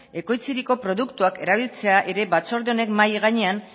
ekoitziriko produktuak erabiltzea ere batzorde honek mahai gainean